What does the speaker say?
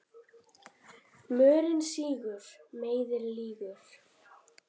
Mörinn sýgur, meiðir, lýgur.